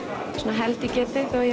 held ég geti þó ég